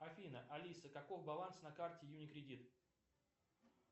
афина алиса каков баланс на карте юникредит